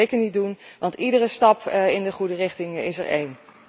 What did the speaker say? Dat moeten we zeker niet doen, want iedere stap in de goede richting is er één.